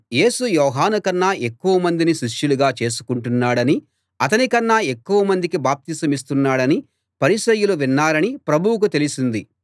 యేసు యోహాను కన్నా ఎక్కువ మందిని శిష్యులుగా చేసుకుంటున్నాడని అతని కన్నా ఎక్కువ మందికి బాప్తిసమిస్తున్నాడని పరిసయ్యులు విన్నారని ప్రభువుకు తెలిసింది